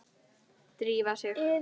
Drífa sig